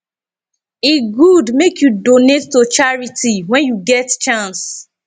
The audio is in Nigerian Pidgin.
e good make you donate to charity when you get chance